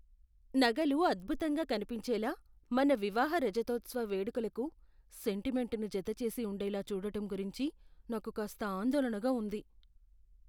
నగలు అద్భుతంగా కనిపించేలా, మన వివాహ రజతోత్సవ వేడుకలకు సెంటిమెంటును జతచేసి ఉండేలా చూడటం గురించి నాకు కాస్త ఆందోళనగా ఉంది.